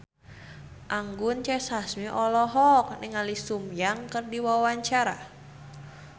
Anggun C. Sasmi olohok ningali Sun Yang keur diwawancara